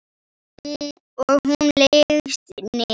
Og hún leggst niður.